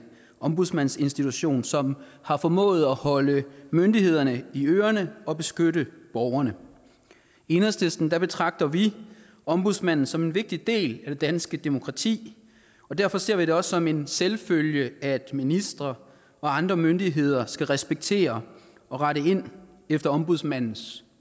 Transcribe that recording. ombudsmandsinstitution som har formået at holde myndighederne i ørerne og beskytte borgerne i enhedslisten betragter vi ombudsmanden som en vigtig del af det danske demokrati og derfor ser vi det også som en selvfølge at ministre og andre myndigheder skal respektere og rette ind efter ombudsmandens